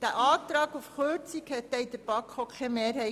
Der Antrag auf Kürzung fand denn in der BaK auch keine Mehrheit.